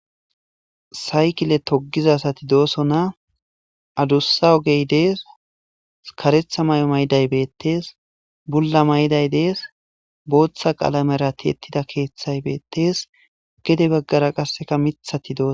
Saykile togizza assathi dossonna adussa oge dees karetha mayo mayiday bethess bulla mayiday dees boththa qalamera the'thida kethay bethess gede bagara qasse mithathi dossona.